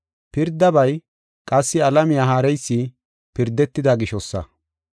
Pirdabay, qassi alamiya haareysi pirdetida gishosa.